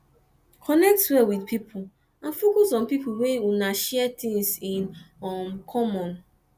connect well with pipo and focus on pipo wey una share things in um common